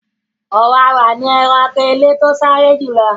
Ọ̀wàwà ni ẹranko ilẹ̀ tí ó sáré jù lọ.